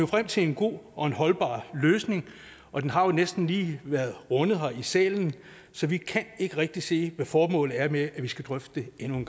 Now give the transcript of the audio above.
frem til en god og holdbar løsning og den har jo næsten lige været rundet her i salen så vi kan ikke rigtig se hvad formålet er med at vi skal drøfte det endnu en